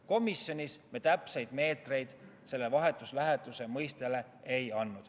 Komisjonis me täpseid meetreid selle vahetu läheduse mõistega ei seostanud.